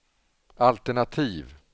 altenativ